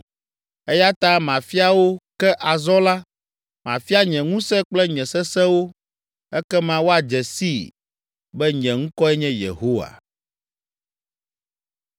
“Eya ta mafia wo, ke azɔ la, mafia nye ŋusẽ kple nye sesẽ wo. Ekema woadze sii be nye ŋkɔe nye Yehowa.